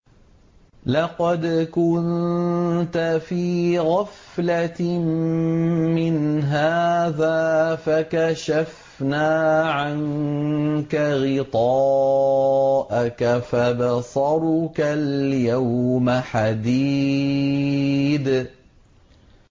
لَّقَدْ كُنتَ فِي غَفْلَةٍ مِّنْ هَٰذَا فَكَشَفْنَا عَنكَ غِطَاءَكَ فَبَصَرُكَ الْيَوْمَ حَدِيدٌ